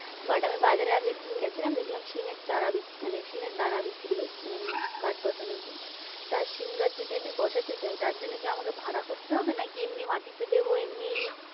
But আমি বাজারে আগের দিন গেছিলাম, দেখলাম সিমের চারা মানে সিমের দানা বিক্রি হচ্ছে মানে গাছ বসানোর জন্য সিম গাছ যদি আমি বসাতে চাই, তার জন্যে কি আমাকে ভাড়া করতে হবে নাকি এমনি মাটিতে দেবো এমনিই